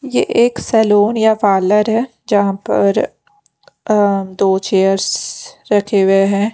ये एक सैलून या पार्लर है जहाँ पर अ दो चेयर्ससस रखे हुए हैं।